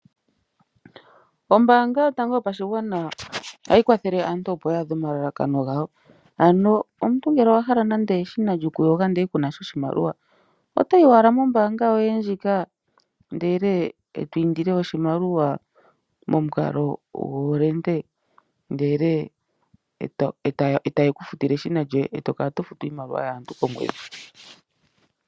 Ombaanga yotango yopashigwana ohayi kwathele aantu opo ya adhe omalalakano gawo. Ano omuntu ngele owa hala nande eshina lyokuyoga ndele ku na sha oshimaliwa, oto yi owala mombanga yoye ndjika ndele e to indile oshimaliwa momukalo gomukuli, ndele e taye ku futile eshina lyoye e to kala to futu iimaliwa yaantu komweedhi.